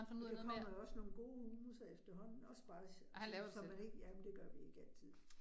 Der kommer jo også nogle gode hummusser efterhånden, også bare til så man ikke, ja, men det gør vi ikke altid